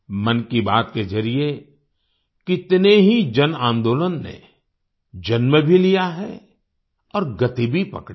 मन की बात के जरिए कितने ही जनआन्दोलन ने जन्म भी लिया है और गति भी पकड़ी है